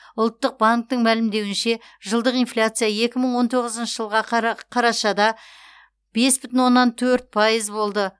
ұлттық банктің мәлімдеуінше жылдық инфляция екі мың он тоғызыншы жылға қарашада бес бүтін оннан төрт пайыз болды